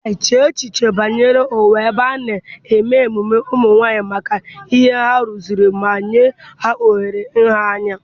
chee echiche banyere ụwa ebe a na-eme ememe ụmụ nwanyị maka ihe ha rụzuru ma nye ha ohere nha anya.